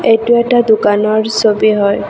এইটো এটা দোকানৰ ছবি হয়।